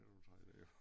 Nu tager jeg et